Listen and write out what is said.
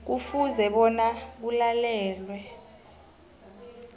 kufuze bona kulalelwe